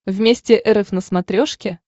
вместе эр эф на смотрешке